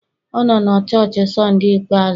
Ọ nọ na chọọchị Sunday ikpeazụ?